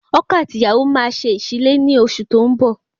Ọkọ àti ìyàwó máa ṣe ìsílé ni oṣù tó ń bọ̀